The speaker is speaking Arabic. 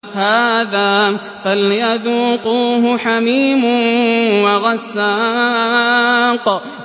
هَٰذَا فَلْيَذُوقُوهُ حَمِيمٌ وَغَسَّاقٌ